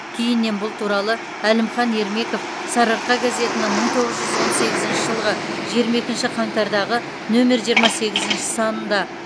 кейіннен бұл туралы әлімхан ермеков сарыарқа газетінің мың тоғыз жүз он сегізінші жылғы жиырма екінші қаңтардағы нөмір жиырма сегізінші санында